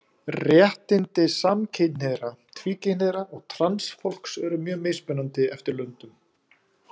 Réttindi samkynhneigðra, tvíkynhneigðra og transfólks eru mjög mismunandi eftir löndum.